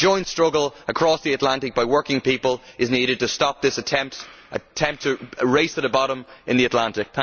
A joint struggle across the Atlantic by working people is needed to stop this attempted race to the bottom in the Atlantic.